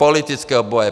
Politického boje!